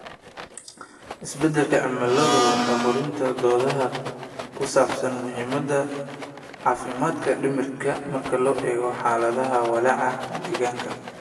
Isbeddelka cimiladu waa hurinta doodaha ku saabsan muhiimada caafimaadka dhimirka marka loo eego xaaladaha walaaca deegaanka.